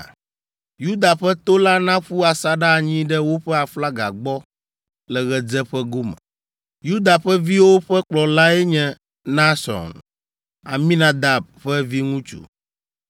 Yuda ƒe to la naƒu asaɖa anyi ɖe woƒe aflaga gbɔ le ɣedzeƒe gome. Yuda ƒe viwo ƒe kplɔlae nye Nahson, Aminadab ƒe viŋutsu,